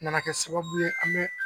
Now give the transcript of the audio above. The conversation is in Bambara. Nana kɛ sababu ye an bɛ